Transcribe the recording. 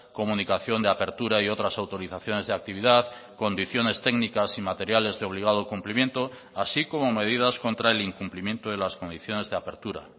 comunicación de apertura y otras autorizaciones de actividad condiciones técnicas y materiales de obligado cumplimiento así como medidas contra el incumplimiento de las condiciones de apertura